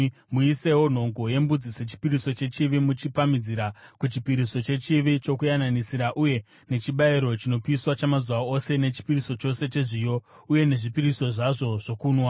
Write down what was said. Muisewo nhongo yembudzi sechipiriso chechivi, muchipamhidzira kuchipiriso chechivi chokuyananisira uye nechibayiro chinopiswa chamazuva ose nechipiriso chacho chezviyo, uye nezvipiriso zvazvo zvokunwa.